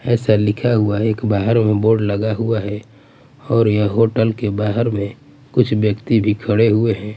ऐसा लिखा हुआ हैं की बाहर में बोर्ड लगा हुआ हैं और ये होटल के बाहर में कुछ व्यक्ति भी खड़े हुए हैं ।